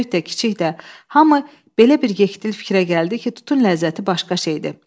Böyük də, kiçik də, hamı belə bir yektil fikrə gəldi ki, tutun ləzzəti başqadır.